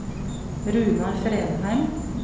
Runar Fredheim